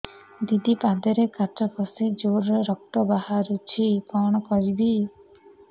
ଦିଦି ପାଦରେ କାଚ ପଶି ଜୋରରେ ରକ୍ତ ବାହାରୁଛି କଣ କରିଵି